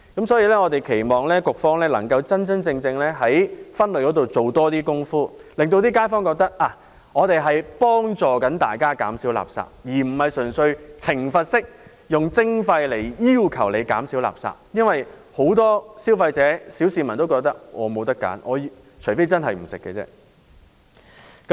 所以，我們期望局方能夠真真正正在垃圾分類方面多做工夫，讓街坊覺得政府正在協助大家減少垃圾，而不是純粹以懲罰式的徵費來要求市民減少垃圾，因為很多消費者或小市民也覺得除非他們不吃不用，否則便沒有選擇。